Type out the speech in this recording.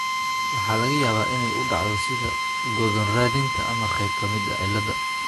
Waxaa laga yaabaa inay u dhacdo sida go'doon raadinta ama qayb ka mid ah cilladda.